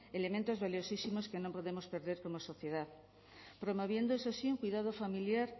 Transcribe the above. elementos valiosísimos que no podemos perder como sociedad promoviendo eso sí un cuidado familiar